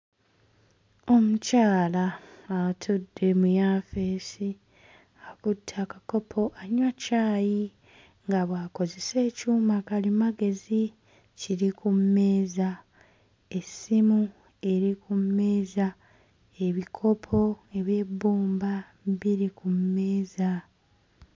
Omukyala atudde mu yaafeesi akutte akakopo anywa caayi nga bw'akozesa ekyuma kalimagezi kiri mu mmeeza essimu eri ku mmeeza ebikopo eby'ebbumba biri ku mmeeza.